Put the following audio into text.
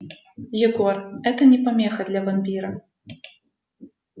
егор это не помеха для вампира